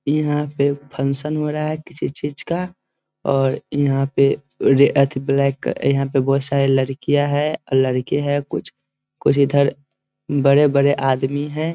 यहाँ पे फंक्शन हो रहा है किसी चीज़ का और यहाँ पे ब्लैक यहाँ पे बहुत सारे लडकियाँ हैं और लड़के हैं कुछ कुछ इधर बड़े-बड़े आदमी है ।